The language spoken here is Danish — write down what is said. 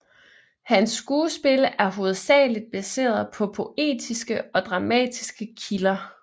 Hans skuespil er hovedsageligt baseret på poetiske og dramatiske kilder